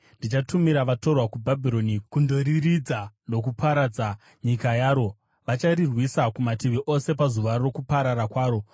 Ndichatumira vatorwa kuBhabhironi kundorirurudza nokuparadza nyika yaro; vacharirwisa kumativi ose, pazuva rokuparara kwaro.